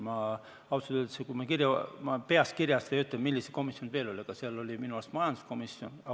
Ma ausalt öeldes peast ei oska öelda, millised komisjonid veel olid, aga minu arust oli seal majanduskomisjon.